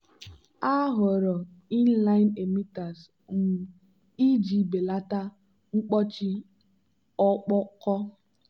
ha họọrọ inline emitters um iji belata mkpọchi ọkpọkọ.